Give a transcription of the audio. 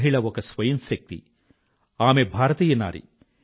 మహిళ ఒక స్వయం శక్తి ఆమె భారతీయ నారి